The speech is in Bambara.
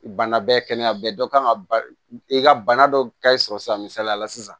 Bana bɛɛ kɛnɛya dɔ kan ka i ka bana dɔ ka e sɔrɔ san misaliya la sisan